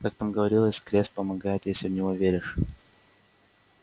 как там говорилось крест помогает если в него веришь